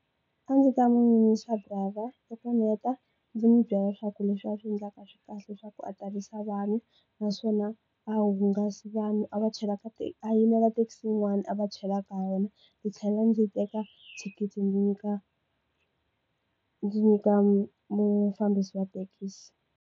A ndzi ta muyimisa driver loko ndzi heta ndzi n'wi byela leswaku leswi a swi endlaka a swi kahle leswaku a tilisa vanhu naswona a hunguti vanhu a va chela ka a yimela taxi yin'wani a va chela ka yona ndzi tlhela ndzi teka thikithi ndzi nyika ndzi nyika mufambisi wa thekisi.